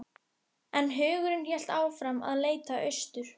En hugurinn hélt áfram að leita austur.